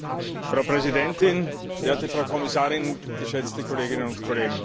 Frau Präsidentin, werte Kommissarin, geschätzte Kolleginnen und Kollegen!